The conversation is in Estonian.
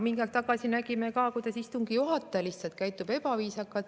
Mingi aeg tagasi nägime ka, kuidas istungi juhataja käitus lihtsalt ebaviisakalt.